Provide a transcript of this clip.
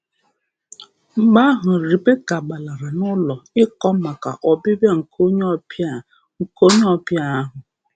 Mgbe ahụ, Rebeka um gbalara n’ụlọ ịkọ maka ọbịbịa nke onye ọbịa nke onye ọbịa ahụ.